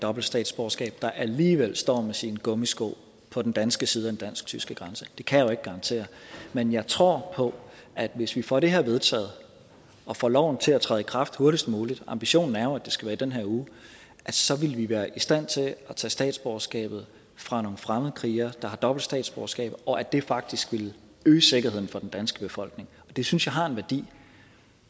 dobbelt statsborgerskab der alligevel står med sine gummisko på den danske side af den dansk tyske grænse det kan jeg jo ikke garantere men jeg tror på at hvis vi får det her vedtaget og får loven til at træde i kraft hurtigst muligt ambitionen er jo at det skal være i den her uge så vil vi være i stand til at tage statsborgerskabet fra nogle fremmedkrigere der har dobbelt statsborgerskab og at det faktisk vil øge sikkerheden for den danske befolkning og det synes jeg har en værdi